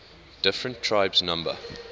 different tribes number